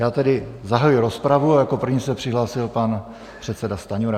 Já tedy zahajuji rozpravu a jako první se přihlásil pan předseda Stanjura.